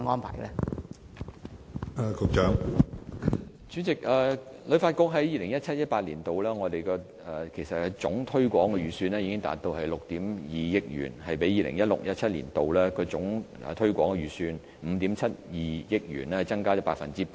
主席，旅發局在 2017-2018 年度的總推廣預算達到6億 2,000 萬元，比 2016-2017 年度的總推廣預算5億 7,200 萬元增加了 8%。